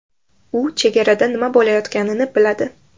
U chegarada nima bo‘layotganini biladi.